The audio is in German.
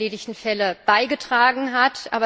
der erledigten Fälle beigetragen hat.